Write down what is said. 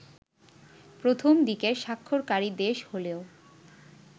প্রথম দিকের স্বাক্ষরকারী দেশ হলেও